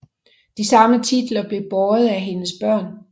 De samme titler blev båret af hendes børn